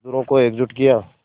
मज़दूरों को एकजुट किया